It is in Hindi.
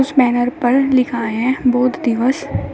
कुछ बैनर पर लिखा है बोध दिवस।